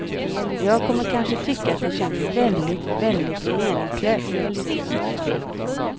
Jag kommer kanske tycka att det känns väldigt, väldigt meningslöst.